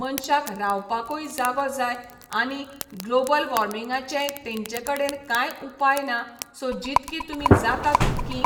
मनशाक रावपाकूय जागो जाय आनी ग्लाॅबल वाॅर्मिंगाचेंय तेंचे कडेन कांय उपाय ना सो जितकी तुमी जाता तितकीं